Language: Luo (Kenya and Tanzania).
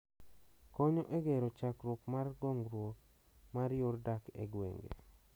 konyo e gero chakruok mar gongruok mar yor dak e gwenge